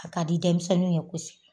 A k'a di denmisɛnnu ye kosɛbɛ